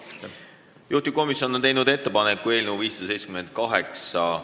Juhtivkomisjon on teinud ettepaneku eelnõu 578 ...